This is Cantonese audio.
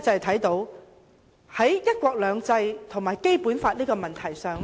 在"一國兩制"和《基本法》的問題上，